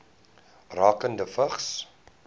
rakende vigs